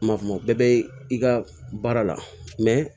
Ma kuma o bɛɛ bɛ i ka baara la